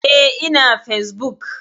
Eh, ina fesbuk.